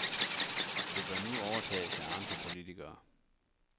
Det bør nu overtages af andre politikere.